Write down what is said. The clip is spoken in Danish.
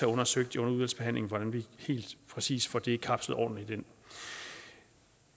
undersøgt hvordan vi helt præcis får det kapslet ordentligt ind